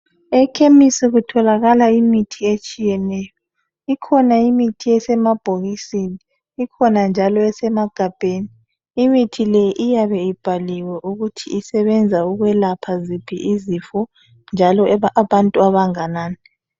Ekhemisi kutholakala imithi etshiyeneyo. Ikhona imithi esemabhokisini, ikhona njalo esemagabheni. Imithi le iyabe ibhaliwe ukuthi isebenza ukwelapha ziphi izifo njalo abantu abanganani.